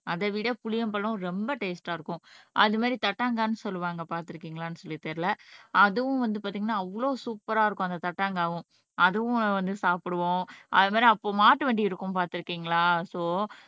அதைவிட புளியம்பழம் ரொம்ப டேஸ்ட்டா இருக்கும் அது மாதிரி தட்டாங்கான் சொல்லுவாங்க பார்த்திருக்கீங்களான்னு சொல்லி தெரியலே அதுவும் வந்து பார்த்தீங்கன்னா அவ்வளவு சூப்பர்ரா இருக்கும் அந்த தட்டாங்கவும் அதுவும் வந்து சாப்பிடுவோம் அது மாதிரி அப்போ மாட்டு வண்டி இருக்கும் பார்த்திருக்கீங்களா சோ